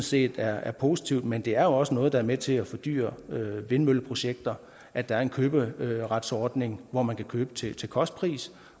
set er positiv men det er også noget der er med til at fordyre vindmølleprojekter at der er en køberetsordning hvor man kan købe til kostpris